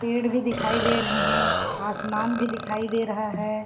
पेड़ भी दिखाई दे रहे है आसमान भी दिखाई दे रहा है।